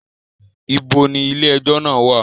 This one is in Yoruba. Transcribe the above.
Ibo ni ilé ẹjọ́ náà wà?